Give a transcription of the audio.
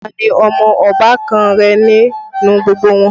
Ta ní ọmọ ọbàkan rẹ nínú gbogbo wọn?